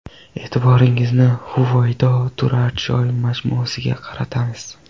E’tiboringizni Huvaydo turar joy majmuasiga qaratamiz.